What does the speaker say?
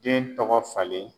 Den tɔgɔ falen